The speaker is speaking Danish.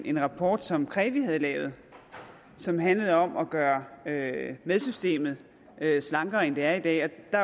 en rapport som krevi havde lavet og som handlede om at gøre med med systemet slankere end det er i dag der